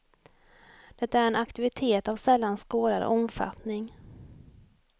Det är en aktivitet av sällan skådad omfattning.